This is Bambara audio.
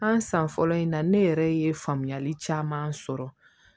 An san fɔlɔ in na ne yɛrɛ ye faamuyali caman sɔrɔ